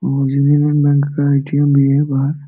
और Union Bank का ATM भी है बाहर ।